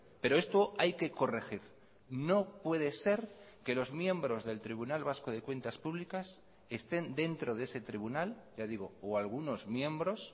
pero esto hay que corregir no puede ser que los miembros del tribunal vasco de cuentas públicas estén dentro de ese tribunal ya digo o algunos miembros